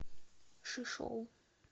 шишоу